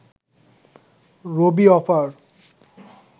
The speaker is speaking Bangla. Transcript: রবি অফার